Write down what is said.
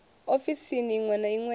ofisini iṅwe na iṅwe ya